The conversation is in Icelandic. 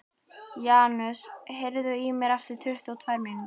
Janus, heyrðu í mér eftir tuttugu og tvær mínútur.